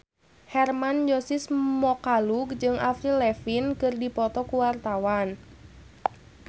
Hermann Josis Mokalu jeung Avril Lavigne keur dipoto ku wartawan